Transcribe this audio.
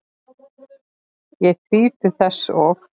Ég þríf til þess og